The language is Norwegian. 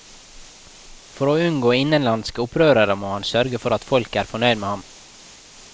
For å unngå innenlandske opprørere må han sørge for at folket er fornøyd med ham.